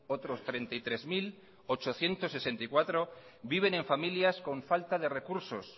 otros treinta y tres mil ochocientos sesenta y cuatro viven en familias con falta de recursos